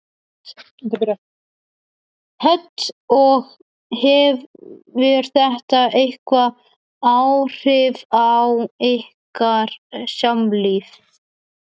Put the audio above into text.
Hödd: Og hefur þetta eitthvað áhrif á ykkar samlíf?